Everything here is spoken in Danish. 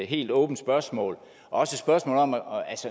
helt åbent spørgsmål og